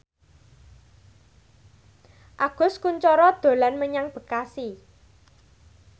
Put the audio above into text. Agus Kuncoro dolan menyang Bekasi